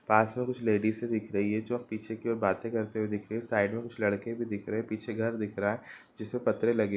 पास में कुछ लेडीज़ दिख रही है जो अब पीछे की और बातें करते हुए दिख रही है| साइड में कुछ लड़के भी दिख रहे हैं पीछे घर दिख रहा है जिस पर पतरे लगे --